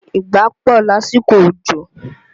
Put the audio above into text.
Ìgbá pọ̀ lásìkò òjò